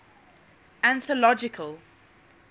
anthological